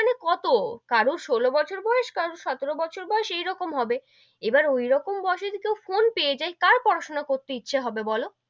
মানে কত কারু ষোলো বছর বয়েস, কারু সতেরো বছর বয়েস এরকম হবে, এবার ঐরকম বয়েস এ যদি কেউ ফোন পেয়ে যাই কার পড়া সোনা করতে ইচ্ছে হবে বোলো,